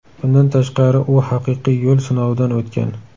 Bundan tashqari, u haqiqiy yo‘l sinovidan o‘tgan.